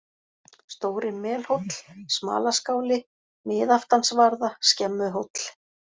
Stóri Melhóll, Smalaskáli, Miðaftansvarða, Skemmuhóll